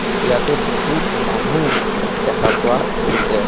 ইয়াতে বহুত মানুহ দেখা পোৱা গৈছে।